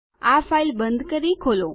આ ફાઈલ બંધ કરી ખોલો